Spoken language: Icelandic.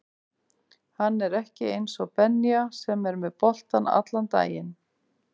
Hann er ekki eins og Benja sem er með boltann allan daginn